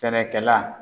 Sɛnɛkɛla